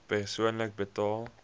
persoonlik betaal